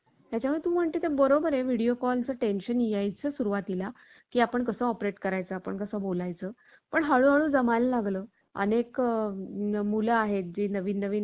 कृत्रिम बुद्धिमत्तेच तंत्रज्ञान सर्वसामान्यांच्या जीवनात सहज प्रवेश करणाऱ्या असल्याची प्रतिक्रिया